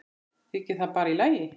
Þykir það bara í lagi.